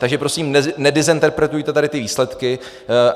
Takže prosím, nedezinterpretujte tady ty výsledky.